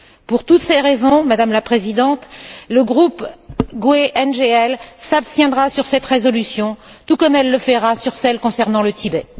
Pour toutes ces raisons, Madame la Présidente, le groupe GUE NGL s'abstiendra sur cette résolution tout comme elle le fera sur celle concernant le Tibet.